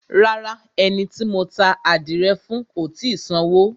Rárá, ẹni tí mo ta ádìrẹ fún ò tì í sanwó.